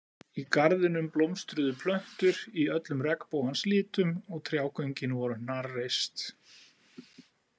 Í garðinum blómstruðu plöntur í öllum regnbogans litum og trjágöngin voru hnarreist.